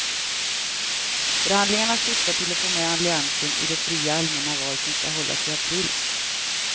Förhandlingarna syftar till att få med alliansen i de fria allmänna val som skall hållas i april.